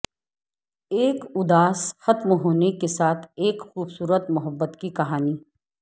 ایک اداس ختم ہونے کے ساتھ ایک خوبصورت محبت کی کہانی